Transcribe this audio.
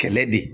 Kɛlɛ de